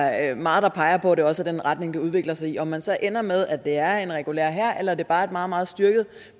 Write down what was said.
er meget der peger på at det også er den retning det udvikler sig i om man så ender med at det er en regulær hær eller at det bare er et meget meget styrket